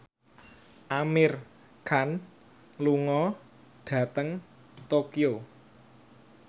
Amir Khan lunga dhateng Tokyo